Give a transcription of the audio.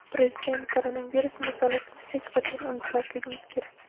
Prezident: Koronavirus masalasini hech qachon unutmasligimiz kerak.